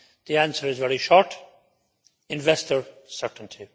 The answer is very short investor certainty.